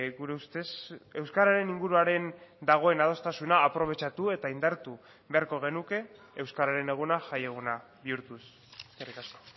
gure ustez euskararen inguruaren dagoen adostasuna aprobetxatu eta indartu beharko genuke euskararen eguna jaieguna bihurtuz eskerrik asko